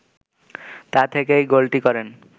তা থেকেই গোলটি করেন